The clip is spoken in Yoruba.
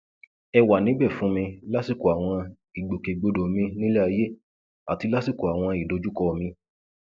ẹ wà níbẹ fún mi lásìkò àwọn ìgbòkègbodò mi nílé ayé àti lásìkò àwọn ìdojúkọ mi